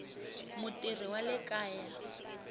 mutirhi wa le kaya a